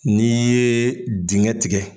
N'i ye dinkɛ tigɛ